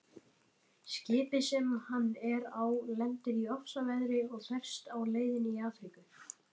Skipið sem hann er á lendir í ofsaveðri og ferst á leiðinni til Afríku.